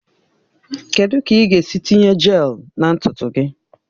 Kedu ka ị ga-esi tinye jelu na ntutu gị?